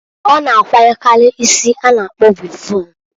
Ọ na akwanyekari isi a na- akpọ wịvọn.